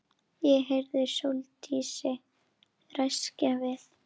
Ég heyrði Sóldísi ræskja sig.